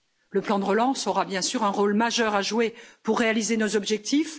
Le plan de relance aura bien sûr un rôle majeur à jouer pour réaliser nos objectifs.